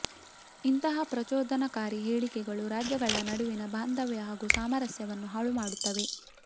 ಇಂತಹ ಪ್ರಚೋದನಕಾರಿ ಹೇಳಿಕೆಗಳು ರಾಜ್ಯಗಳ ನಡುವಿನ ಬಾಂಧವ್ಯ ಹಾಗೂ ಸಾಮರಸ್ಯವನ್ನು ಹಾಳುಮಾಡುತ್ತವೆ